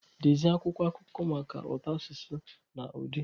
Dezie akwụkwọ akụkọ maka ụtọ asụsụ na ụdị.